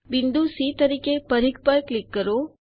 બિંદુ સી તરીકે પરિઘ પર ક્લિક કરો